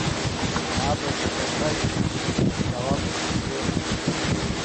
надо заказать голландский сыр